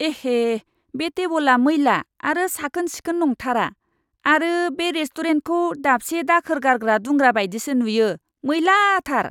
एहे! बे टेबोला मैला आरो साखोन सिखोन नंथारा आरो बे रेस्ट'रेन्टखौ दाबसे दाखोर गारग्रा दुंग्रा बायदि नुयो, मैला थार !